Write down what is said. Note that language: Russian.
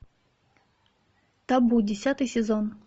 табу десятый сезон